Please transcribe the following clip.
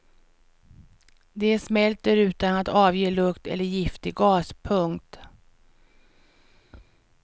De smälter utan att avge lukt eller giftig gas. punkt